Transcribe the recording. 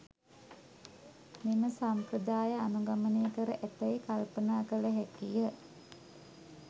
මෙම සම්ප්‍රදාය අනුගමනය කර ඇතැයි කල්පනා කළ හැකිය.